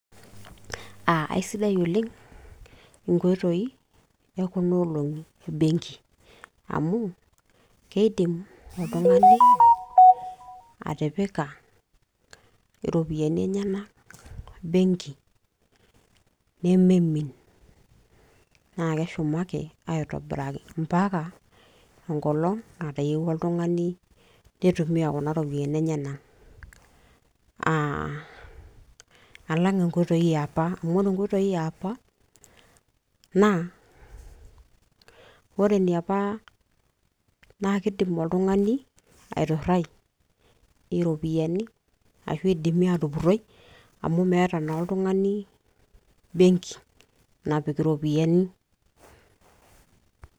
aa aisidai oleng' inkoitoi ekuna olong'i e benki. amu keidim oltung'ani atipika iropiyiani enyenak, benki nemeimin, naa keshumaki aaitobiraki, mpaka enkolong natayiewua oltungani neitumiya iropiyiani enyenak.aa alangaa' inkoitoi yiapa, amu ore inkoitoi yiapa, naa kidim oltungani aiminie iropiyiani enyenak amu meeta oltungani benki napaik iropiyyiani.